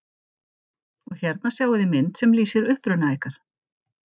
Og hérna sjáiði mynd sem lýsir uppruna ykkar.